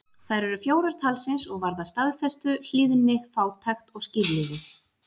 Þær eru fjórar talsins og varða staðfestu, hlýðni, fátækt og skírlífi.